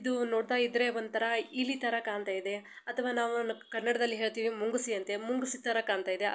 ಇದು ನೋಡ್ತಾ ಇದ್ರೆ ಒಂಥರಾ ಇಲಿ ತರ ಕಾಣ್ತಾಯಿದೆ ಅಥವಾ ನಾವು ಕನ್ನಡದಲ್ಲಿ ಹೇಳ್ತೆವೆ ಮುಂಗುಸಿ ಅಂತೆ ಮುಂಗಿಸಿ ತರ ಕಾಣ್ತಾಯಿದೆ.